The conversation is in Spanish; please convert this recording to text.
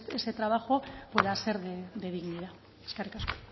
ese trabajo pueda ser de dignidad eskerrik asko